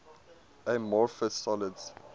amorphous solids